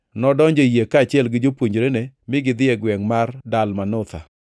nodonjo e yie, kaachiel gi jopuonjrene, mi gidhi e gwengʼ mar Dalmanutha.